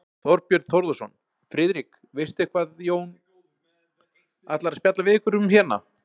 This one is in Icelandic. Þorbjörn Þórðarson: Friðrik, veistu eitthvað Jón ætlar að spjalla við ykkur um hérna?